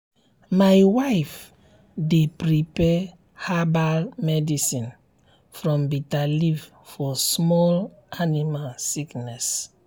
my wife dey prepare herbal medicine from bitter leaf for small animal sickness.